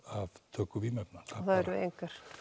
töku vímuefna það eru engar